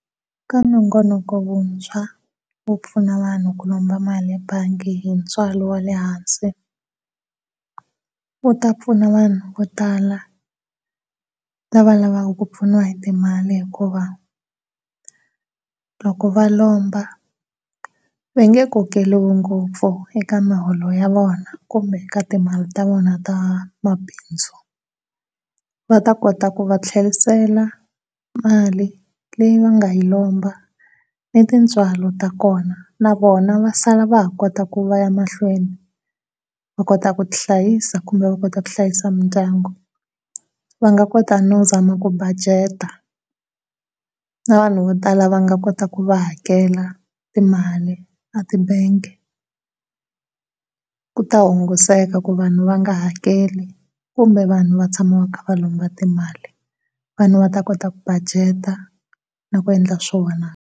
Eka nongonoko wuntshwa wu pfuna vanhu ku lomba mali ebangi hi ntswalo wa le hansi wu ta pfuna vo tala lava lavaku ku pfuniwa hi timali hikuva loko va lomba va nge kokeriwi ngopfu eka muholo ya vona kumbe eka timali ta vona ta mabindzu va ta kota ku va tlherisela mali leyi va nga yi lomba ni tintswalo ta kona na vona va sala va ha kota ku va ya mahlweni va kota ku ti hlayisa kumbe va kota ku hlayisa mindyangu. Va nga kota no zama ku budget-a na vanhu vo tala va nga kota ku va hakela timali etibangi ku ta hunguseka ku vanhu nga hakeli kumbe vanhu vatshama va kha va lomba timali. Vanhu va ta kota ku budget-a loko va endla swona.